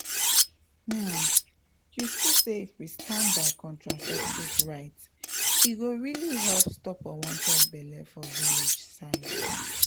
um you see say if we stand by contraceptive rights e go really help stop unwanted belle for village side.